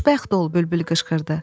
Xoşbəxt ol, bülbül qışqırdı.